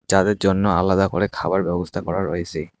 যাদের জন্য আলাদা করে খাবার ব্যবস্থা করা রয়েসে।